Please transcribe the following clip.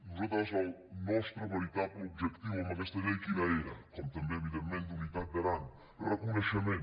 nosaltres el nostre veritable objectiu amb aquesta llei quin era com també evidentment d’unitat d’aran reconeixe·ment